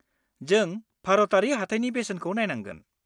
जों भारतारि हाथाइनि बेसेनखौ नायनांगोन।